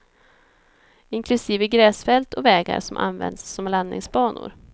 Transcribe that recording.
Inklusive gräsfält och vägar som används som landningsbanor.